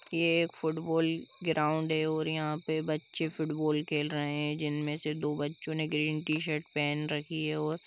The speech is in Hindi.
यह एक फुटबॉल ग्राउड़ है और यहा पर बच्चे फुटबॉल खेल रहे है जिनमे से दो बच्चे ग्रीन टीशर्ट पहन रखी है और--